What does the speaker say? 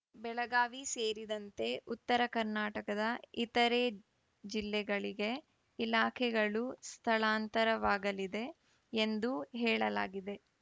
ಬೆಳಗಾವಿ ಸೇರಿದಂತೆ ಉತ್ತರ ಕರ್ನಾಟಕದ ಇತರೆ ಜಿಲ್ಲೆಗಳಿಗೆ ಇಲಾಖೆಗಳು ಸ್ಥಳಾಂತರವಾಗಲಿದೆ ಎಂದು ಹೇಳಲಾಗಿದೆ